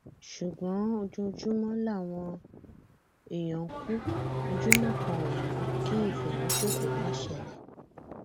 ṣùgbọn ojoojúmọ làwọn èèyàn ń kú ojúmọ kan ò mọ kí ìfẹmíṣòfò má ṣẹlẹ